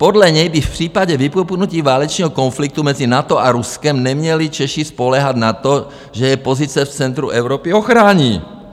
Podle něj by v případě vypuknutí válečného konfliktu mezi NATO a Ruskem neměli Češi spoléhat na to, že je pozice v centru Evropy ochrání.